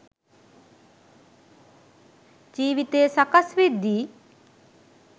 ජීවිතය සකස් වෙද්දි